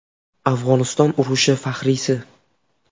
Afg‘oniston urushi faxriysi.